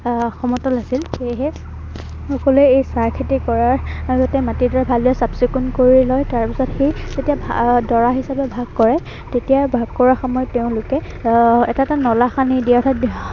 আহ সমতল আছিল। সেয়েহে আচলতে এই চাহ খেতি কৰাৰ আহ মাট ডৰা ভালকে চাফ চিকুন কৰি লয়। তাৰপিছত সি যেতিয়া ডৰা হিচাপে ভাগ কৰে তেতিয়া ভাগ কৰাৰ সময়ত তেওঁলোকে এৰ এটা এটা নলা খান্দি দিয়ে অৰ্থাৎ